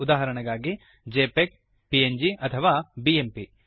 ಉದಾಹರಣೆಗಾಗಿ JPEG PNG ಅಥವಾ BMP